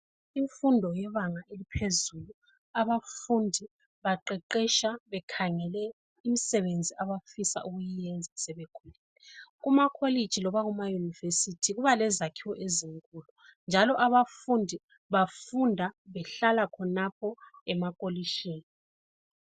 Imfundo yebanga eliphezulu, abafundi baqeqetsha bekhangele umsebenzi abawufisa kuyiyenza sebekhulile. Kumakolitshi noma kumayunivesithi kuba lezakhiwo ezinkulu njalo abafundi bafunda behlala khonapho emakolitshini.